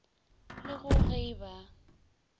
le go ge e ba